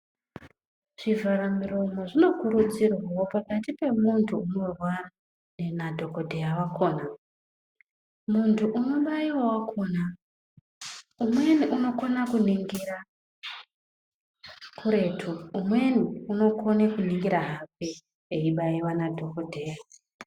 Zvivharamuromo zvinokudzirwawo pakati pamunthu unorwara nadhokodheya wakhona. Munthu unobaiwa wakhona umweni unokona kuningira kuretu umweni unokone kuningira hake ibayiwa nadhokodheya.